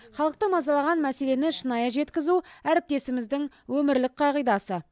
халықты мазалаған мәселені шынайы жеткізу әріптесіміздің өмірлік қағидасы